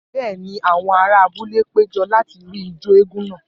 Bẹ́ẹ̀ ni, àwọn ará abúlé péjọ láti rí ijó eégún náà.